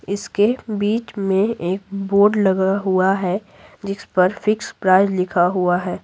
इस के बीच में एक बोर्ड लगा हुआ है जिस पर फिक्स प्राइस लिखा हुआ है।